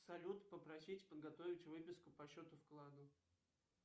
салют попросить подготовить выписку по счету вкладу